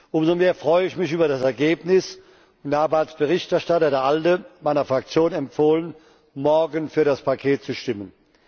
Umso mehr freue ich mich über das Ergebnis und habe als Berichterstatter der ALDE meiner Fraktion empfohlen, morgen für das Paket zu stimmen.